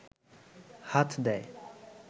হাত দেয়